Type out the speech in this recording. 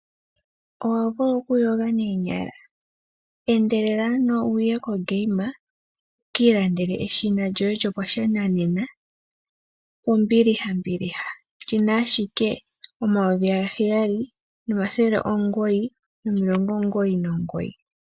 Owa vulwa okuyoga noonyala? Endelela ano wuye koGame wuki ilandele eshina lyoye lyopashinanena kombiliha mbiliha. Olina ashike oodola omayovi gaheyali, omathele omugoyi nomilongo omugoyi nomugoyi.